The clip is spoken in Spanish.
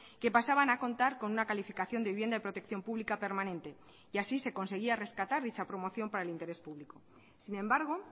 que pasaban a contar con una calificación de vivienda de protección pública permanente y así se conseguía rescatar dicha promoción para el interés público sin embargo